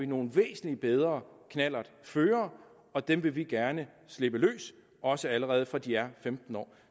nogle væsentlig bedre knallertførere og dem vil vi gerne slippe løs også allerede fra de er femten år